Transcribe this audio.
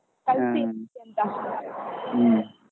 ಕಳ್ಸ್ತೀವ್ .